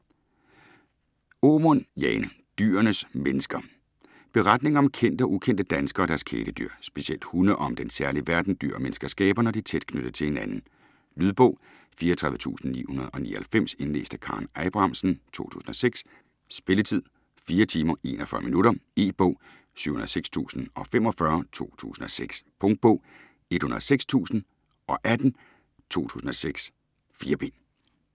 Aamund, Jane: Dyrenes mennesker Beretninger om kendte og ukendte danskere og deres kæledyr; specielt hunde og om den særlige verden, dyr og mennesker skaber, når de er tæt knyttet til hinanden. Lydbog 34999 Indlæst af Karen Abrahamsen, 2006. Spilletid: 4 timer, 41 minutter. E-bog 706045 2006. Punktbog 106018 2006. 4 bind.